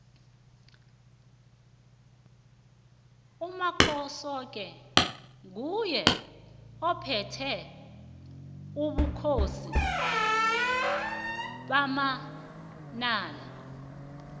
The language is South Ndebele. umakhosoke nguye ophethe ubukhosi bamanala